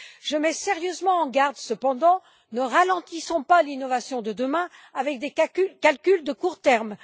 Je mets sérieusement en garde cependant ne ralentissons pas l'innovation de demain avec des calculs à court terme.